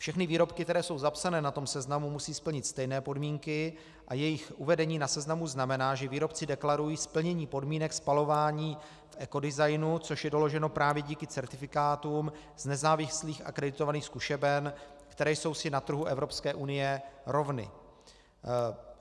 Všechny výrobky, které jsou zapsané na tom seznamu, musí splnit stejné podmínky a jejich uvedení na seznamu znamená, že výrobci deklarují splnění podmínek spalování v ekodesignu, což je doloženo právě díky certifikátům z nezávislých akreditovaných zkušeben, které jsou si na trhu Evropské unie rovny.